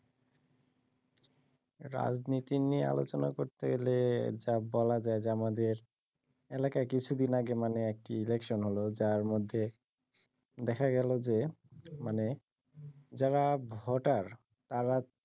রাজনীতি নিয়ে আলোচনা করতে গেলে বলা যায় যে আমাদের এলাকায় কিছুদিন আগে মানে একটি ইলেকশন হলো যার মধ্যে দেখা গেল যে মানে যারা ভোটার তারা